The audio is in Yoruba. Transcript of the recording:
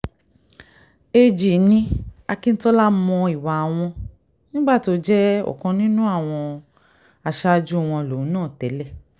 ag ní akíntola mọ ìwà àwọn nígbà tó jẹ́ ọ̀kan nínú àwọn aṣáájú àwọn lòun náà tẹ́lẹ̀